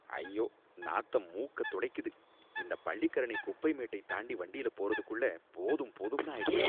ஐயோ, நாத்தம் மூக்க துளைக்குது, இந்த பள்ளிக்கரணை குப்பை மேட்டை தாண்டி வண்டியில போறதுக்குள்ள போதும் போதும்னு ஆயிடுது